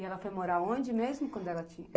E ela foi morar onde mesmo? Quando ela